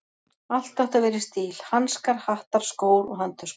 Allt átti að vera í stíl: hanskar, hattar, skór og handtöskur.